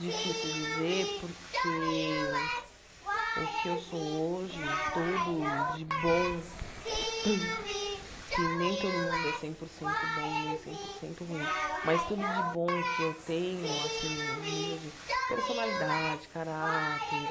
Difícil dizer porque o que eu sou hoje, tudo de bom, que nem todo mundo é cem por cento bom, nem cem por cento ruim, mas tudo de bom que eu tenho, assim, nível de personalidade, caráter,